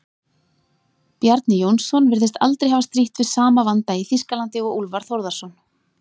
Bjarni Jónsson virðist aldrei hafa strítt við sama vanda í Þýskalandi og Úlfar Þórðarson.